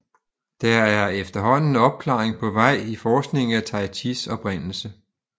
Der er efterhånden opklaring på vej i forskningen i Tai Chis oprindelse